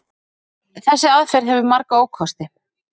Þessi aðferð hefur marga ókosti.